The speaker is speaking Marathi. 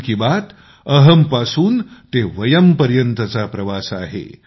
मन की बात अहंपासू ते वयम पर्यंतचा प्रवास आहे